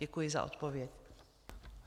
Děkuji za odpověď.